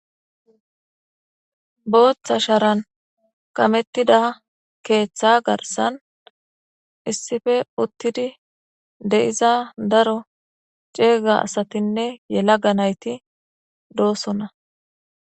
Obtha sharan kametida ketha garisan issipe utizi de'iza daro cega asatinee yalaga nayiti do'sona